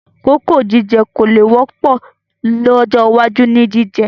Kókò jíjẹ kò le wọ́pọ̀ lọ́jọ́ iwájú ni jíjẹ